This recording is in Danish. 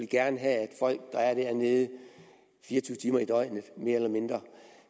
gerne have at folk der er dernede fire og tyve timer i døgnet mere eller mindre